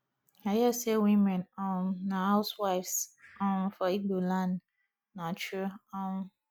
i hear say women um na housewives um for igbo land na true um